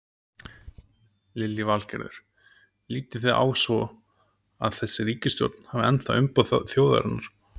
Lillý Valgerður: Lítið þið svo á að þessi ríkisstjórn hafi ennþá umboð þjóðarinnar?